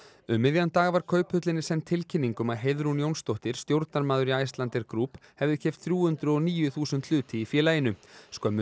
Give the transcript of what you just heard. um miðjan dag var Kauphöllinni send tilkynning um að Heiðrún Jónsdóttir stjórnarmaður í Icelandair Group hefði keypt þrjú hundruð og níu þúsund hluti í félaginu skömmu